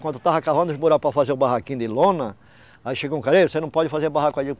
Quando eu estava cavando os buracos para fazer o barraquinho de lona, aí chegou um cara, ei você não pode fazer barraco aí